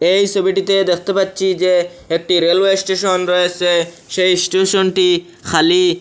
এই সবিটিতে দেখতে পাচ্ছি যে একটি রেলওয়ে স্টেশন রয়েসে সেই স্টেশনটি খালি।